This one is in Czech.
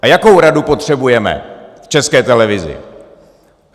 A jakou radu potřebujeme v České televizi?